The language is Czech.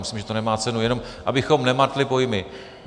Myslím, že to nemá cenu, jen abychom nemátli pojmy.